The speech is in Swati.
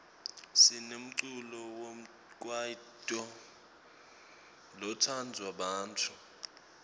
sinemculo wekwaito lotsandwa bantfu